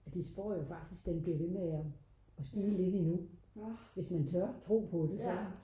at de spår jo faktisk at den bliver ved med at stige lidt endnu hvis man tør tro på det